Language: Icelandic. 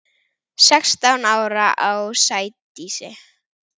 Sextán ára á Sædísi.